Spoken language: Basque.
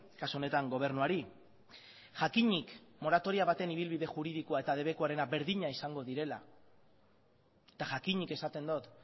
kasu honetan gobernuari jakinik moratoria baten ibilbide juridikoa eta debekuarena berdina izan direla eta jakinik esaten dut